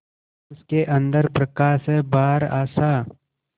उसके अंदर प्रकाश है बाहर आशा